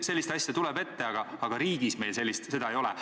Selliseid asju tuleb ette, aga riigis meil seda ei ole.